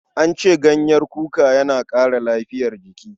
An ce ganyen kuka yana ƙara lafiyar jiki.